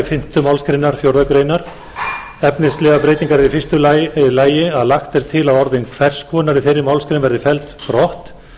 fimmtu málsgrein fjórðu grein efnislegar breytingar eru í fyrsta lagi að lagt er til að orðin hvers konar í þeirri málsgrein verði felld brott